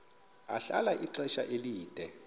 ahlala ixesha elide